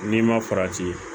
N'i ma farati